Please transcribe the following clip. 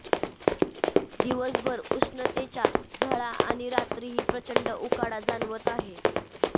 दिवसभर उष्णतेच्या झळा आणि रात्रीही प्रचंड उकाडा जाणवत आहे